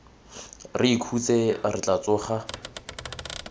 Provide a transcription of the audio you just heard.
re ikhutse re tla tsoga